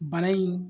Bana in